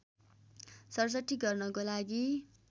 ६७ गर्नको लागि